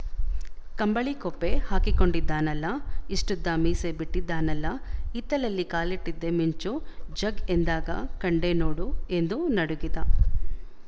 ಕಂಬಳಿಕೊಪ್ಪೆ ಹಾಕಿಕೊಂಡಿದ್ದಾನಲ್ಲ ಇಷ್ಟುದ್ದ ಮೀಸೆ ಬಿಟ್ಟಿದ್ದಾನಲ್ಲ ಹಿತ್ತಲಲ್ಲಿ ಕಾಲಿಟ್ಟಿದ್ದೇ ಮಿಂಚು ಝಗ್ ಎಂದಾಗ ಕಂಡೆ ನೋಡು ಎಂದು ನಡುಗಿದ